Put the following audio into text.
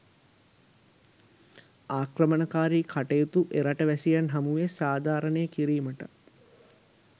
ආක්‍රමණකාරී කටයුතු එරට වැසියන් හමුවේ සාධාරණය කිරීමටත්